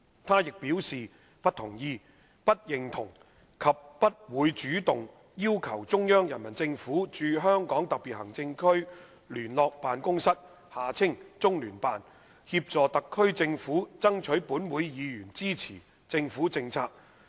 她亦表示不同意、不認同及不會主動要求中央人民政府駐香港特別行政區聯絡辦公室，協助特區政府爭取本會議員支持政府政策。